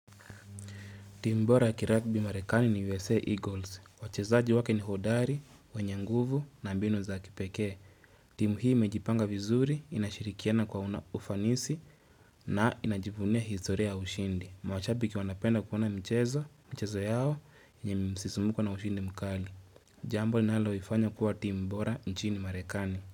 Timu bora ya kiragbi marekani ni USA Eagles. Wachezaji wake ni hodari, wenye nguvu na mbinu za kipekee. Timu hii imejipanga vizuri, inashirikiana kwa una ufanisi na inajivunia historia ya ushindi. Mwashabiki wanapenda kuona mchezo, michezo yao, nye msisumuko na ushindi mkali. Jambo linalo ifanya kuwa timbora nchini marekani.